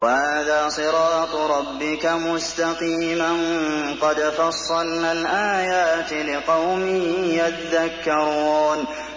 وَهَٰذَا صِرَاطُ رَبِّكَ مُسْتَقِيمًا ۗ قَدْ فَصَّلْنَا الْآيَاتِ لِقَوْمٍ يَذَّكَّرُونَ